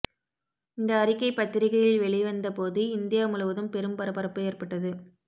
இந்த அறிக்கை பத்திரிகைகளில் வெளி வந்தபோது இந்தியா முழுவதும் பெரும் பரபரப்பு ஏற்பட்டது